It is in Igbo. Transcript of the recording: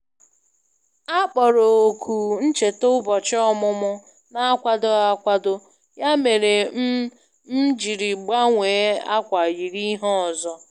A kpọrọ òkù ncheta Ụbọchị ọmụmụ n'akwadoghị akwado, ya mere m m jiri gbanwee akwa yiri ihe ọzọ.